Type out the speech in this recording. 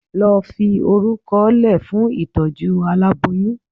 lo Fi oruko le fún itojú àláboyún.